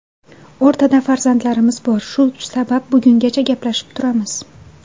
O‘rtada farzandlarimiz bor, shu sabab bugungacha gaplashib turamiz.